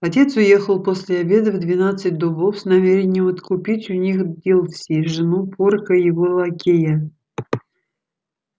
отец уехал после обеда в двенадцать дубов с намерением откупить у них дилси жену порка его лакея